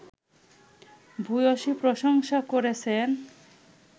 ভূয়সী প্রশংসা করেছেন